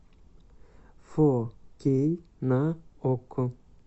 фо кей на окко